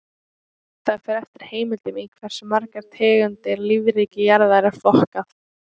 Það fer eftir heimildum í hversu margar tegundir lífríki jarðar er flokkað.